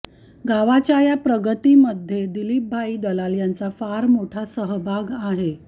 गावच्या या प्रगतीमध्ये दिलीपभाई दलाल यांचा फार मोठा सहभाग आहे